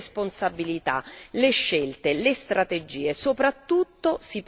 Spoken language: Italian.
si condividono le responsabilità, le scelte, le strategie